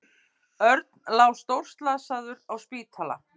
Örn lá stórslasaður á spítala.